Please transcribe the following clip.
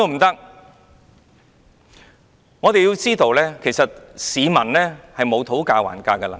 大家要知道，市民沒有討價還價的能力。